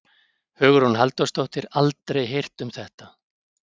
Hugrún Halldórsdóttir: Aldrei heyrt um þetta?